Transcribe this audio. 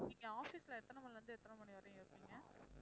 நீங்க office ல எத்தனை மணியிலிருந்து எத்தனை மணி வரையும் இருப்பீங்க?